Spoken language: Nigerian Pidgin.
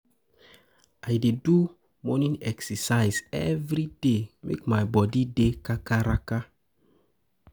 I dey do morning exercise every day make my body dey kakaraka.